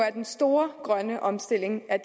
er den store grønne omstilling af